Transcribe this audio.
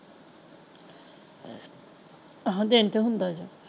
ਆਹੋ ਦਿਨ ਤੇ ਹੁੰਦਾ ਜੇ।